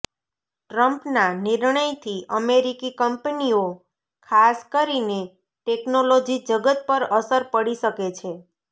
ટ્રમ્પના નિર્ણયથી અમેરિકી કંપનીઓ ખાસ કરીને ટેકનોલોજી જગત પર અસર પડી શકે છે